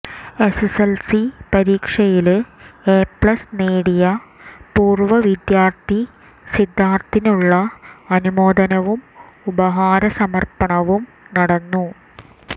SSLC പരീക്ഷയില് A plus നേടിയ പൂര്വ്വ വിദ്യാര്ത്ഥി സിദ്ധാര്ത്ഥിനുള്ള അനുമോദനവും ഉപഹാര സമര്പ്പണവും നടന്നു